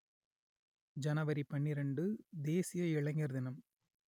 ஜனவரி பன்னிரண்டு தேசிய இளைஞர் தினம்